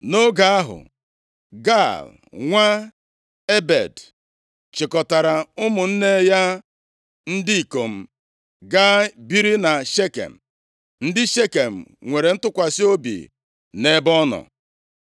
Nʼoge ahụ, Gaal, nwa Ebed, chịkọtara ụmụnne + 9:26 Maọbụ, Ndị ikwu ya ya ndị ikom gaa biri na Shekem, ndị Shekem nwere ntụkwasị obi nʼebe ọ nọ.